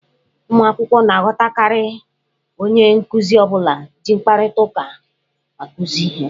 Ụmụ akwụkwọ na-aghọtakarị onye nkuzi ọ bụla ji mkparịta ụka akụzi ihe.